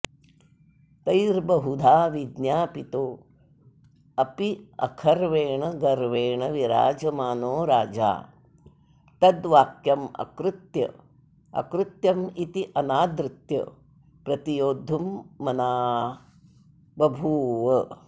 तैर्बहुधा विज्ञापितोऽप्यखर्वेण गर्वेण विराजमानो राजा तद्वाक्यमकृत्यमित्यनादृत्य प्रतियोद्धुमना बभूव